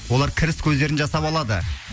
олар кіріс көздерін жасап алады